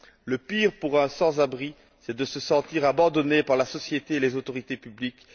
Le pire pour un sans abri, c'est de se sentir abandonné par la société et les autorités publiques.